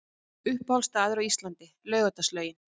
Uppáhalds staður á Íslandi: Laugardalslaugin